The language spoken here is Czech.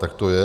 Tak to je.